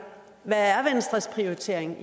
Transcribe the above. hvad er venstres prioritering